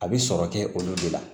A bɛ sɔrɔ kɛ olu de la